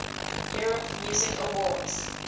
europe music awards